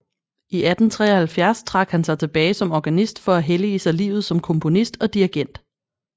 I 1873 trak han sig tilbage som organist for at hellige sig livet som komponist og dirigent